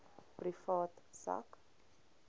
privaat sak